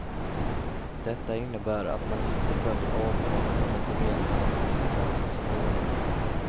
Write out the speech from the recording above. Detta innebär att man inte följer avtalet om ett gemensamt upptagningsområde.